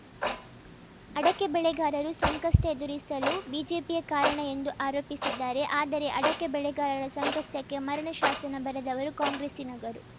ಅಡಕೆ ಬೆಳೆಗಾರರು ಸಂಕಷ್ಟಎದುರಿಸಲು ಬಿಜೆಪಿಯೇ ಕಾರಣ ಎಂದು ಆರೋಪಿಸಿದ್ದಾರೆ ಆದರೆ ಅಡಕೆ ಬೆಳೆಗಾರರ ಸಂಕಷ್ಟಕ್ಕೆ ಮರಣ ಶಾಸನ ಬರೆದವರು ಕಾಂಗ್ರೆಸ್ಸಿನಗರು